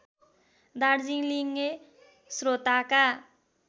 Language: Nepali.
दार्जीलिङे स्रोताका